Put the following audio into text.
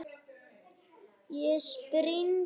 Ég spring.